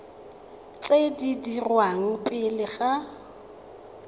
tse di dirwang pele ga